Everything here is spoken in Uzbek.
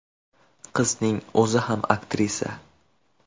Qizning o‘zi ham aktrisa.